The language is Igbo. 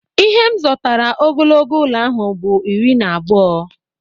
Ihe m zotara ogologo ụlọ ahụ bụ iri na abụọ